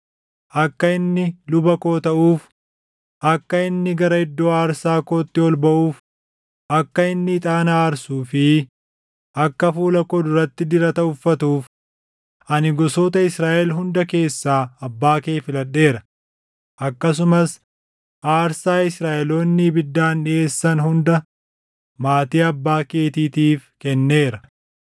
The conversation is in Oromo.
Akka inni luba koo taʼuuf, akka inni gara iddoo aarsaa kootti ol baʼuuf, akka inni ixaana aarsuu fi akka fuula koo duratti dirata uffatuuf, ani gosoota Israaʼel hunda keessa abbaa kee filadheera; akkasumas aarsaa Israaʼeloonni ibiddaan dhiʼeessan hunda maatii abbaa keetiitiif kenneera.